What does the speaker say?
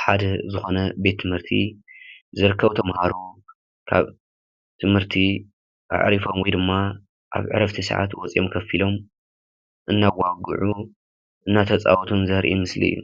ሓደ ዝኾነ ቤት ትምህርቲ ዝርከቡ ተማሃሮ ካብ ትምህርቲ ኣዕሪፎም ወይ ድማ ኣብ ዕረፍቲ ሰዓት ወፂኦም ኮፍ ኢሎም እናዋግዑ እናተፃወቱን ዘርኢ ምስሊ እዩ።